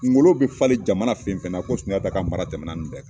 Ngolo bi falen jamana fen fen na, ko Sunjata ka mara tɛmɛna ni bɛɛ kan.